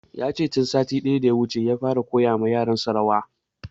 Yace tun satin da ya wuce ya fara koya wa yaran sa rawa